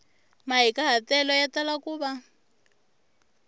mahikahatelo ya tala ku va